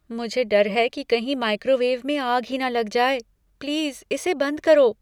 मुझे डर है कि कहीं माइक्रोवेव में आग ही न लग जाए। प्लीज़ इसे बंद करो।